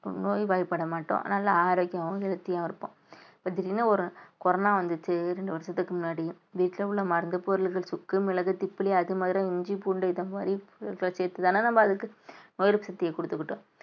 நோய்வாய்ப்பட மாட்டோம் நல்ல ஆரோக்கியமாவும் healthy அ இருப்போம் இப்ப திடீர்ன்னு ஒரு கொரோனா வந்துச்சு இரண்டு வருஷத்துக்கு முன்னாடி வீட்டுல உள்ள மருந்துப் பொருள்கள் சுக்கு மிளகு திப்பிலி அதிமதுரம் இஞ்சி பூண்டு இந்த மாதிரி சேர்த்து வெச்சுட்டு தானே நம்ம அதுக்கு சக்திய கொடுத்துக்கிட்டோம்